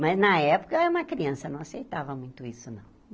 Mas, na época, era uma criança, não aceitava muito isso, não.